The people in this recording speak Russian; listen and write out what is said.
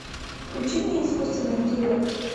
включи мне искусственный интеллект